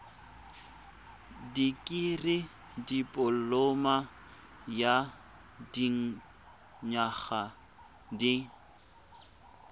dikirii dipoloma ya dinyaga di